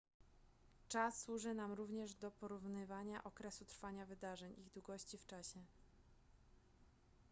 czas służy nam również do porównywania okresu trwania wydarzeń ich długości w czasie